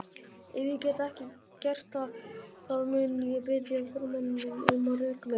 Ef ég get ekki gert það mun ég biðja formanninn um að reka mig.